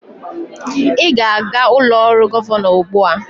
Ị ga-aga ụlọ ọrụ gọvanọ ugbu a!